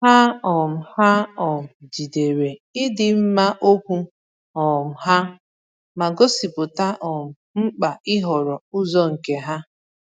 Ha um Ha um jidere ịdị mma okwu um ha, ma gosipụta um mkpa ịhọrọ ụzọ nke ha.